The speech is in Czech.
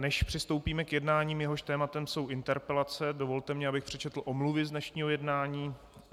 Než přistoupíme k jednání, jehož tématem jsou interpelace, dovolte mi, abych přečetl omluvy z dnešního jednání.